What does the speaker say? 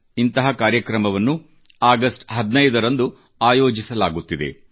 ಇಂಥ ಕಾರ್ಯಕ್ರಮವನ್ನು ಅಗಸ್ಟ್ 15 ರಂದು ಆಯೋಜಿಸಲಾಗುತ್ತಿದೆ